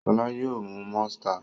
Ṣọlá yóò mú Monster.